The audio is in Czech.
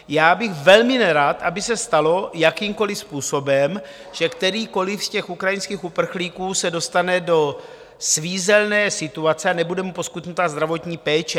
Já bych velmi nerad, aby se stalo jakýmkoliv způsobem, že kterýkoliv z těch ukrajinských uprchlíků se dostane do svízelné situace a nebude mu poskytnuta zdravotní péče.